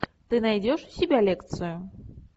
ты найдешь у себя лекцию